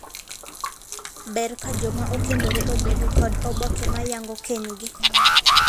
Ber ka joma okendore obedo kod oboke ma yango kenygi.